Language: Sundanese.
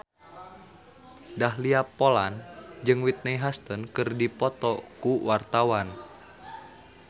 Dahlia Poland jeung Whitney Houston keur dipoto ku wartawan